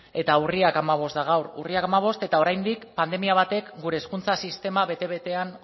eta urriak hamabost da gaur urriak hamabost eta oraindik pandemia batek gure hezkuntza sistema bete betean